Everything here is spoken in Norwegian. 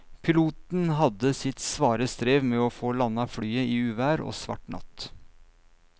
Piloten hadde sitt svare strev med å få landet flyet i uvær og svart natt.